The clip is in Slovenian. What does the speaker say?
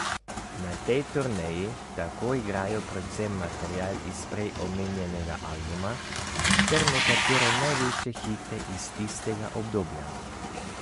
Na tej turneji tako igrajo predvsem material iz prej omenjenega albuma ter nekatere največje hite iz tistega obdobja.